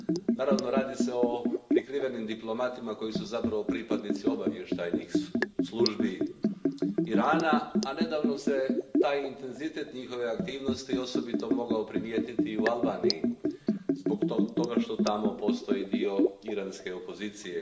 Naravno, radi se o prikrivenim diplomatima koji su zapravo pripadnici obavještajnih službi Irana, a nedavno se taj intenzitet njihove aktivnosti osobito mogao primijetiti u Albaniji zbog toga što tamo postoji dio iranske opozicije.